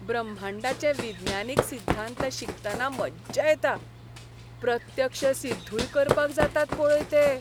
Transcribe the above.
ब्रह्मांडाचे विज्ञानीक सिध्दांत शिकतना मज्जा येता. प्रत्यक्ष सिद्धूय करपाक जातात पळय ते.